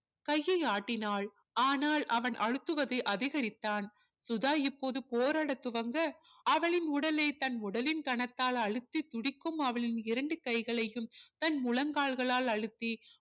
கையை ஆட்டினால் ஆனால் அவன் அழுத்துவதை அதிகரித்தான் சுதா இப்போது போராட துவங்க அவளின் உடலை தன் உடலின் கனத்தால் அழுத்தி துடிக்கும் அவளின் இரண்டு கைகளையும் தன் முழங்கால்களால் அழுத்தி